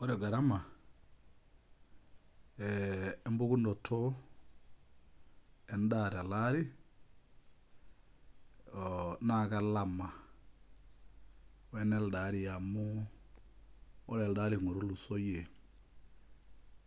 Ore gara lookma e embukunoto endaa teleari na kelama we neldo aari amu ore elde otulusoyie